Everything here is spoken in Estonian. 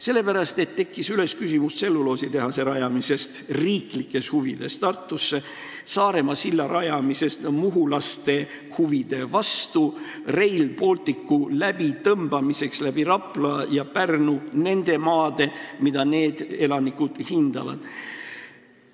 Sellepärast, et tekkis küsimus tselluloositehase rajamisest riiklikes huvides Tartusse, Saaremaa silla rajamisest muhulaste huve rikkudes, Rail Balticu läbitõmbamiseks läbi Rapla ja Pärnu, läbi nende maade, mida need elanikud hindavad.